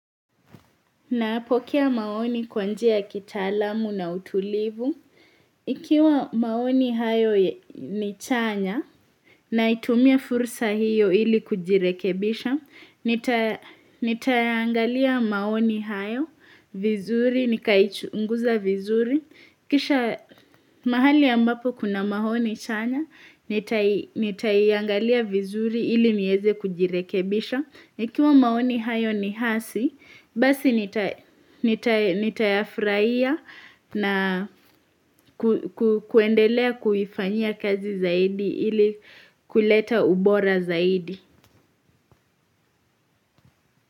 Nayapokea maoni kwa njia ya kitaalamu na utulivu. Ikiwa maoni hayo ni chanya naitumia fursa hiyo ili kujirekebisha, nitayaangalia maoni hayo, vizuri, nikaichunguza vizuri. Kisha mahali ambapo kuna maoni chanya, nitaiangalia vizuri ili nieze kujirekebisha. Kiwa maoni hayo ni hasi, basi nitayafurahia na kuendelea kuifanyia kazi zaidi ili kuleta ubora zaidi.